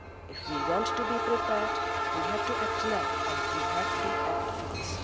soon. If we want to be prepared, we have to act now and we have to act